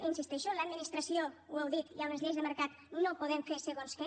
hi insisteixo l’administració ho heu dit hi ha unes lleis de mercat no podem fer segons què